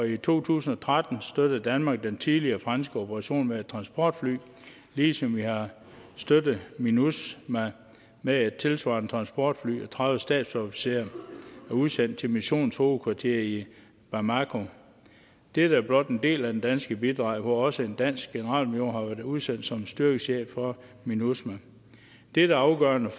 i to tusind og tretten støttede danmark den tidligere franske operation med et transportfly ligesom vi har støttet minusma med et tilsvarende transportfly og tredive stabsofficerer udsendt til missionens hovedkvarter i bamako dette er blot en del af det danske bidrag hvor også en dansk generalmajor har været udsendt som styrkechef for minusma dette er afgørende